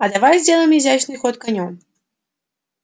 а давай сделаем изящный ход конём